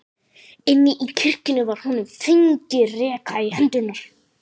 Inni í kirkjunni var honum fengin reka í hendurnar.